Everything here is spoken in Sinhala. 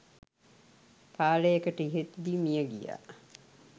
කාලයකට ඉහතදී මිය ගියා.